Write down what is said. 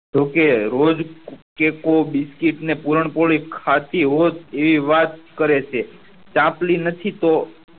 તો કેહ રોજ કેકુ બિસ્કીટ નેપુરણ પૂરું ખાતી હોત એવી વાત કરે છે ચાપલી નથી તો